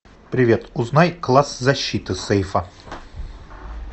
привет узнай класс защиты сейфа